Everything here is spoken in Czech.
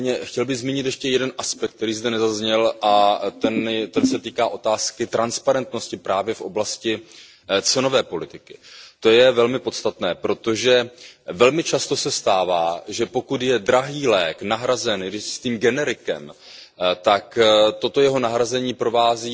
Nicméně, chtěl bych zmínit ještě jeden aspekt, který zde nezazněl, a ten se týká otázky transparentnosti právě v oblasti cenové politiky. To je velmi podstatné, protože se velmi často stává, že pokud je drahý lék nahrazen jistým generikem, tak toto jeho nahrazení provází